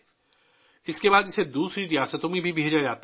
اس کے بعد اسے دوسری ریاستوں میں بھی بھیجا جاتا ہے